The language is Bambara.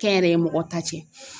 Kɛnyɛrɛye mɔgɔ ta cɛ